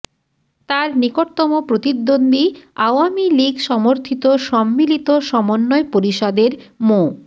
তাঁর নিকটতম প্রতিদ্বন্দ্বী আওয়ামী লীগ সমর্থিত সম্মিলিত সমন্বয় পরিষদের মো